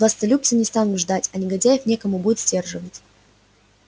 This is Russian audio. властолюбцы не станут ждать а негодяев некому будет сдерживать